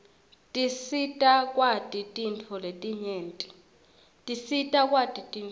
tisita kwati tintfo letinyenti